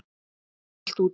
Hún slær allt út.